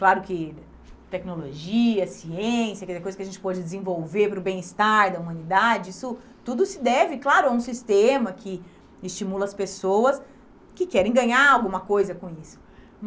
Claro que tecnologia, ciência, que é coisa que a gente pode desenvolver para o bem-estar da humanidade, isso tudo se deve, claro, a um sistema que estimula as pessoas que querem ganhar alguma coisa com isso.